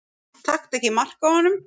Taktu ekki mark á honum.